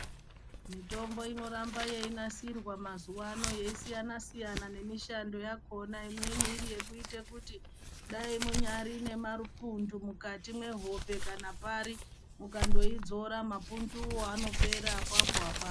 Mitombo inoramba yeiasirwa mazuwano yeisiyana siyana nemishando yakhona imweni iri yekuite kuti dai munyari nemapundu mukati mwehope kana pari mukandoidzora mapunduwo anopera apapo apapo.